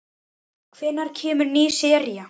Hvenær kemur ný sería?